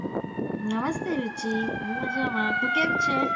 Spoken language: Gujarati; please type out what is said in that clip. નમસ્તે રુચિ હું મજામાં તું કેમ છે?